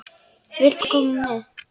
Viltu koma með?